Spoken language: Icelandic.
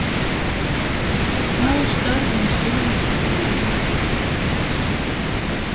En hvaða störfum sinnir fólkið innan Mjólkurbúsins?